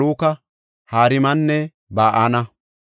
Maluka, Harimanne Ba7ana.